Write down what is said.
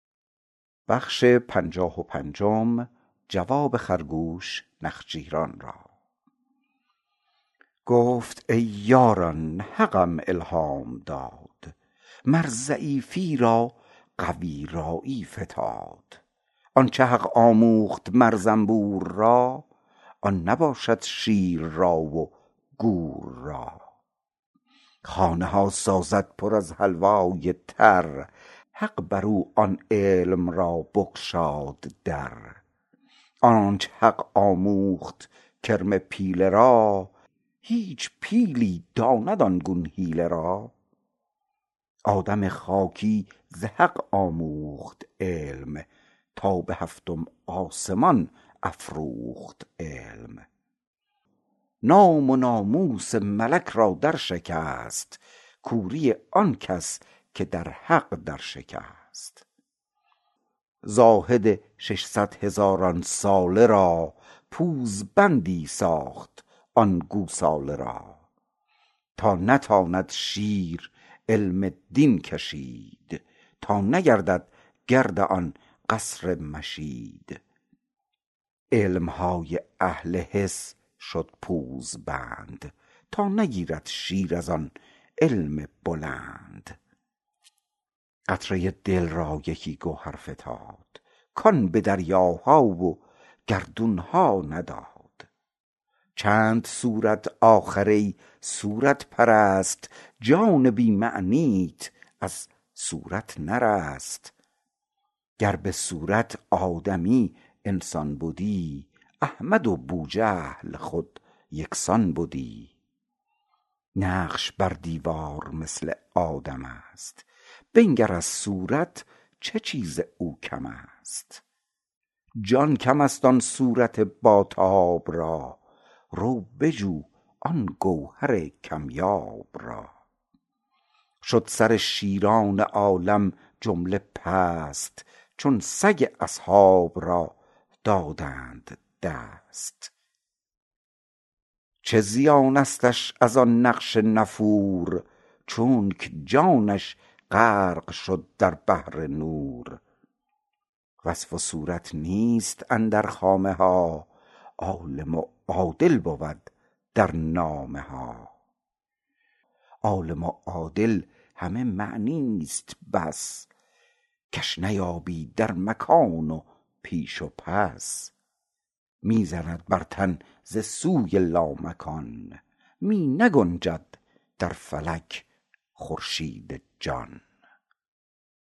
گفت ای یاران حقم الهام داد مر ضعیفی را قوی رایی فتاد آنچ حق آموخت مر زنبور را آن نباشد شیر را و گور را خانه ها سازد پر از حلوای تر حق برو آن علم را بگشاد در آنچ حق آموخت کرم پیله را هیچ پیلی داند آن گون حیله را آدم خاکی ز حق آموخت علم تا به هفتم آسمان افروخت علم نام و ناموس ملک را در شکست کوری آنکس که در حق در شکست زاهد ششصد هزاران ساله را پوزبندی ساخت آن گوساله را تا نتاند شیر علم دین کشید تا نگردد گرد آن قصر مشید علمهای اهل حس شد پوزبند تا نگیرد شیر از آن علم بلند قطره دل را یکی گوهر فتاد کان به دریاها و گردونها نداد چند صورت آخر ای صورت پرست جان بی معنیت از صورت نرست گر بصورت آدمی انسان بدی احمد و بوجهل خود یکسان بدی نقش بر دیوار مثل آدمست بنگر از صورت چه چیز او کمست جان کمست آن صورت با تاب را رو بجو آن گوهر کم یاب را شد سر شیران عالم جمله پست چون سگ اصحاب را دادند دست چه زیانستش از آن نقش نفور چونک جانش غرق شد در بحر نور وصف و صورت نیست اندر خامه ها عالم و عادل بود در نامه ها عالم و عادل همه معنیست بس کش نیابی در مکان و پیش و پس می زند بر تن ز سوی لامکان می نگنجد در فلک خورشید جان